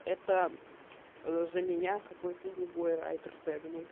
это за меня какой то другой райтер тэганул